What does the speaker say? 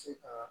Se ka